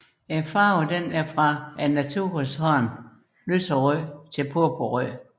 Farven er fra naturens hånd lyserød til purpurrød